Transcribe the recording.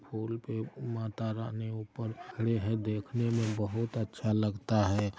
फूल पे माता रानी ऊपर खड़ी हैं देखने में बहुत अच्छा लगता है।